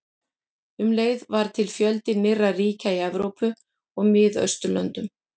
Um leið varð til fjöldi nýrra ríkja í Evrópu og Miðausturlöndum.